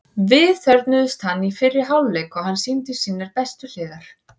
Við þörfnuðumst hans í fyrri hálfleik og hann sýndi sínar bestu hliðar.